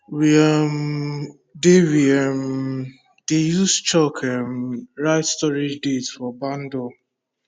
we um dey we um dey use chalk um write storage date for barn door